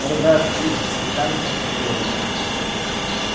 он играет в криббедж с начальником фактории